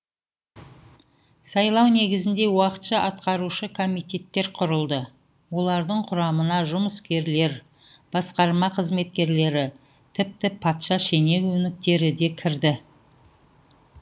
сайлау негізінде уақытша атқарушы комитеттер құрылды олардың құрамына жұмыскерлер басқарма қызметкерлері тіпті патша шенеуіктері де кірді